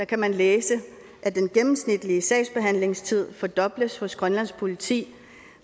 kan man læse at den gennemsnitlige sagsbehandlingstid fordobles hos grønlands politi